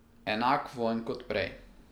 Enak vonj kot prej.